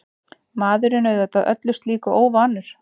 Maðurinn auðvitað öllu slíku óvanur.